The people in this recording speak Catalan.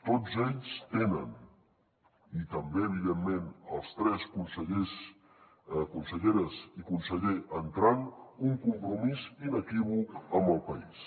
tots ells tenen i també evidentment els tres consellers conselleres i conseller entrants un compromís inequívoc amb el país